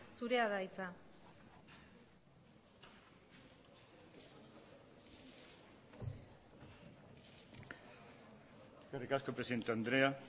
zurea da hitza eskerrik asko presidente andrea